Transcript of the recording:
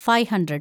five hundred